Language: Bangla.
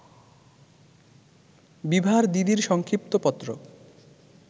বিভার দিদির সংক্ষিপ্ত পত্র